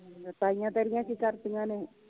ਤੇ ਤਾਈਂਆ ਤੇਰੀਆਂ ਕੀ ਕਰਦੀਆਂ ਨੇ?